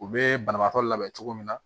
U bɛ banabaatɔ labɛn cogo min na